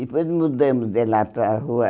Depois mudamos de lá para a rua,